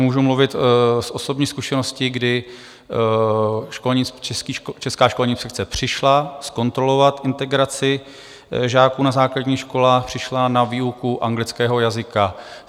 Můžu mluvit z osobní zkušenosti, kdy Česká školní inspekce přišla zkontrolovat integraci žáků na základních školách, přišla na výuku anglického jazyka.